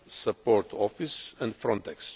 Support Office and Frontex.